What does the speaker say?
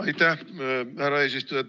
Aitäh, härra eesistuja!